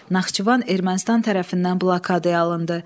Naxçıvan Ermənistan tərəfindən blokadaya alındı.